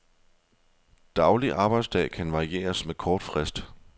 Daglig arbejdsdag kan varieres med kort frist.